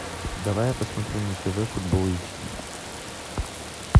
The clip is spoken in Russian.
давай я посмотрю на тв футбол эйч ди